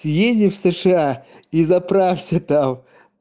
ты ездишь в сша и заправся там